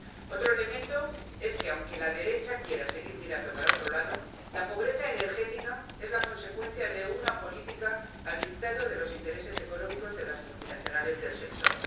Otro elemento es que, aunque la derecha quiera seguir mirando para otro lado, la pobreza energética es la consecuencia de una política al dictado de los intereses económicos de las multinacionales del sector.